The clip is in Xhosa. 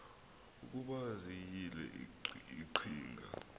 ukuba ziyile iqhinga